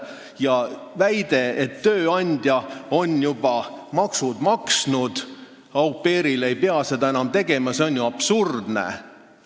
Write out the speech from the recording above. Ja väide, et tööandja on juba maksud maksnud, au pair ei pea seda enam tegema, on ju absurdne.